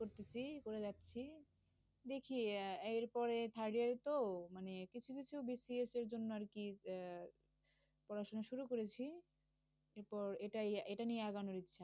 করতেছি করে যাচ্ছি দেখি আহ এরপরে third year এ তো মানে কিছু কিছু বিসিএস এর জন্য আর কি আহ পড়াশোনা শুরু করেছি। এরপর এটা এটা নিয়ে আগানোর ইচ্ছা।